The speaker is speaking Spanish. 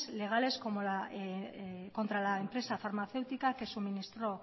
legales contra la empresa farmacéutica que suministró